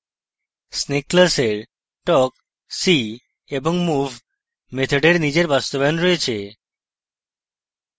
snake class talk see এবং move মেথডের নিজের বাস্তবায়ন রয়েছে